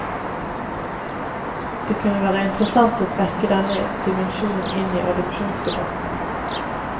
Det kunne være interessant å trekke denne dimensjonen inn i adopsjonsdebatten.